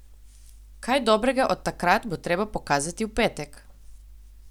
Kaj dobrega od takrat bo treba pokazati v petek?